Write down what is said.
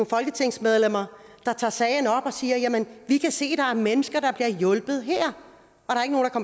folketingsmedlemmer der tager sagen op og siger jamen vi kan se at der er mennesker der bliver hjulpet her